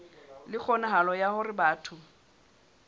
le kgonahalo ya hore batho